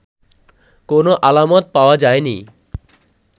কোনো আলামত পাওয়া যায়নি